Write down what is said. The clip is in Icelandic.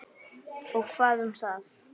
Og hvað um það.